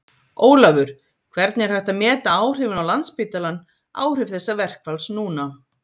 Ólafur, hvernig er hægt að meta áhrifin á Landspítalann áhrif þessa verkfalls núna?